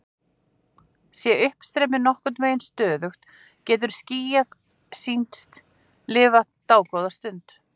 Sé uppstreymið nokkurn veginn stöðugt getur skýið sýnst lifa dágóða stund.